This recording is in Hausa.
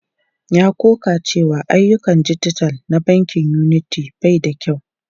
Ya ƙoƙa da cewa ayyukan dijital na bankin Unity bai da kyau.